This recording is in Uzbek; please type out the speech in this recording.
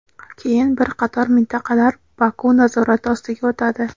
keyin bir qator mintaqalar Baku nazorati ostiga o‘tadi.